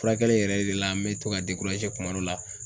Furakɛli yɛrɛ de la an bɛ to ka kuma dɔ la